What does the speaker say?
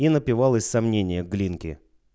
и напивалась сомнения глинки